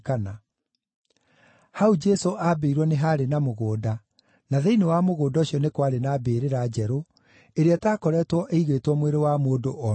Hau Jesũ aambĩirwo nĩ haarĩ na mũgũnda, na thĩinĩ wa mũgũnda ũcio nĩ kwarĩ na mbĩrĩra njerũ, ĩrĩa ĩtakoretwo ĩigĩtwo mwĩrĩ wa mũndũ o na ũmwe.